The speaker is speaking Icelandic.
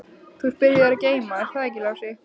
Þú ert byrjaður að geyma, er það ekki Lási?